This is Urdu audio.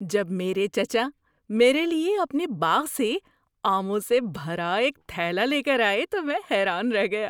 جب میرے چچا میرے لیے اپنے باغ سے آموں سے بھرا ایک تھیلا لے کر آئے تو میں حیران رہ گیا۔